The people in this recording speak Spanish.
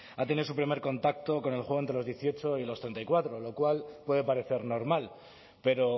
ha tenido su primer contacto con el juego entre los dieciocho y los treinta y cuatro lo cual puede parecer normal pero